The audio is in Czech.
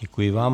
Děkuji vám.